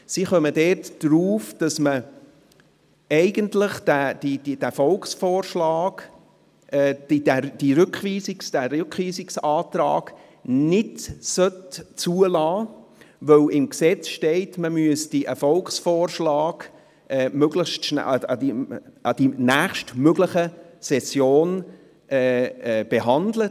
Die Staatskanzlei kommt zum Schluss, dass man diesen Rückweisungsantrag eigentlich nicht zulassen sollte, da im Gesetz steht, man müsse einen Volksvorschlag an der nächstmöglichen Session behandeln.